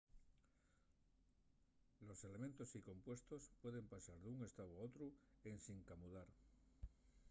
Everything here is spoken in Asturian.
los elementos y compuestos pueden pasar d'un estáu a otru ensin camudar